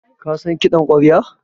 Ka san kiɗan ƙwarya?